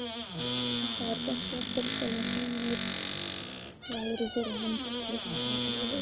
Þetta var gert jafnvel þó að synir væru fyrir hendi til að taka við völdum.